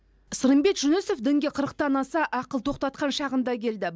сырымбет жүнісов дінге қырықтан аса ақыл тоқтатқан шағында келді